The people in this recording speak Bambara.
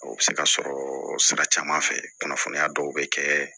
O bɛ se ka sɔrɔ sira caman fɛ kunnafoniya dɔw bɛ kɛ